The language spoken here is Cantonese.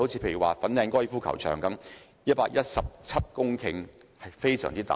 例如，粉嶺高爾夫球場佔地117公頃，地方非常大。